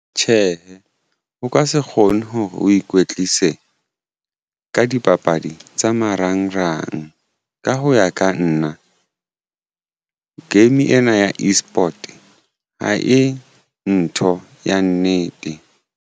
Tjhehe, o ka se kgone hore o ikwetlise ka dipapadi tsa marangrang ka ho ya ka nna game ena ya eSport ha e ntho ya nnete.